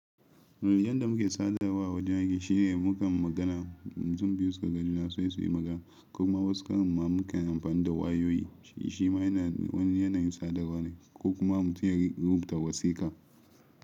Yanda muke sadawa wajen aike shine mukan magana, mutum biyu su ga juna sai su yi magana. Kuma wasu karon mu kanyi amfani da wayoyi shima yana wani yanayin sadarwa ne ko kuma mutum ya rubuta wasika.